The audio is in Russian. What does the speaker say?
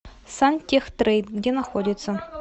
сантехтрейд где находится